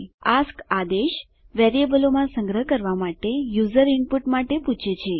ASK આદેશ વેરીએબલોમાં સંગ્રહ કરવાં માટે યુઝર ઈનપુટ પૂછે છે